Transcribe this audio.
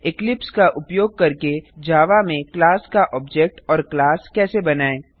Eclipse का उपयोग करके जावा में क्लास का ऑब्जेक्ट और क्लास कैसे बनाएँ